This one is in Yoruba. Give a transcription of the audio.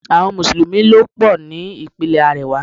Àwọn Mùsùlùmí ló pò ní Ìpínlẹ̀ àríwá.